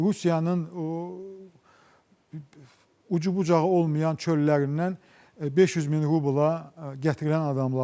Rusiyanın o ucu-bucağı olmayan çöllərindən 500 min rubla gətirilən adamlardır.